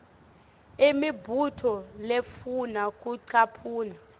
imibuto lefuna kucaphuna